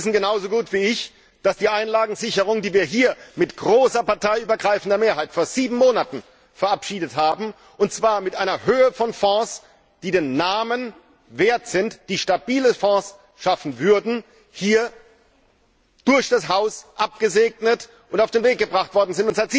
Sie wissen genauso gut wie ich, dass die Einlagensicherung, die wir hier mit großer, parteiübergreifender Mehrheit vor sieben Monaten verabschiedet haben, und zwar mit einer Höhe von Fonds, die den Namen wert sind, die stabile Fonds schaffen würden, durch das Haus abgesegnet und auf den Weg gebracht worden ist.